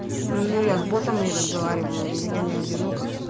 ну я с ботом и разговариваю я не одинока